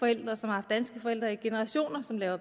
altså